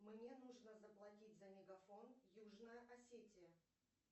мне нужно заплатить за мегафон южная осетия